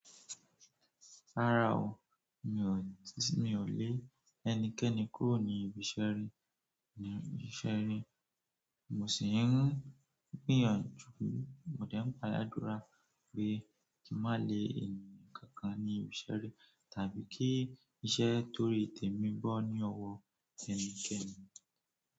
Rárá o, mi ò lè ẹnikẹni kúrò ní ibi iṣẹ́ ri, ní ibi iṣẹ́ ri. Mo sì ń gbìyànjú, mo de ń gba ládùrá pé kí n má lè ènìyàn kankan ní ibi iṣẹ́ ri tàbí kí iṣẹ́ tóri temí bọ́ ní ọwọ́ ẹnikẹni.